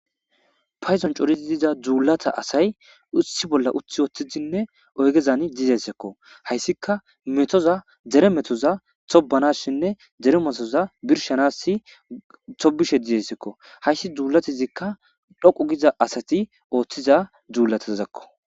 payzon corizi diza dzuulata asay utsi bolla uthi woththidinne oygezan dizessekko hayssika metoza dere metoza tobanashinne dere metoza birshanassi tobishe dizessekko hayssi dzuulatizikka dhoqu giza asati ooththiza duulatazakko